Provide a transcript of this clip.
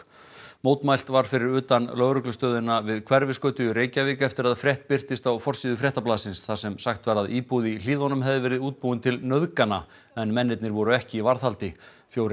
mótmælt var fyrir utan lögreglustöðina við Hverfisgötu í Reykjavík eftir að frétt birtist á forsíðu Fréttablaðsins þar sem sagt var að íbúð í Hlíðunum hefði verið útbúin til nauðgana en mennirnir voru ekki í varðhaldi fjórir